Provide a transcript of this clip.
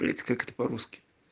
блять как это по-русски